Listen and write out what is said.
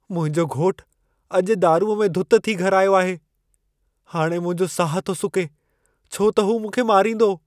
मुंहिंजो घोटु अॼु दारूअ में दुत थी घरि आयो आहे। हाणे मुंहिंजो साहु थो सुके छो त हू मूंखे मारींदो।